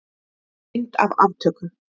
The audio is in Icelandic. Mynd af aftöku.